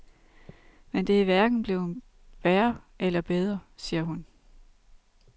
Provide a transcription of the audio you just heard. Men det er hverken blevet værre eller bedre, siger hun.